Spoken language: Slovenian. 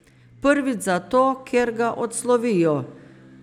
Prvič zato, ker ga odslovijo.